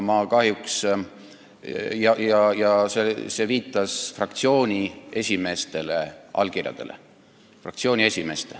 See viitas fraktsiooni esimeeste allkirjadele.